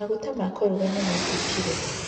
Maguta ma kũruga nĩ maitĩkire.